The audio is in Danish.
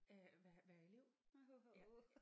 Øh være være elev ja